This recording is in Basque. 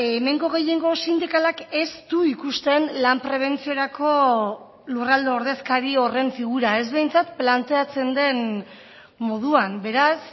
hemengo gehiengo sindikalak ez du ikusten lan prebentziorako lurralde ordezkari horren figura ez behintzat planteatzen den moduan beraz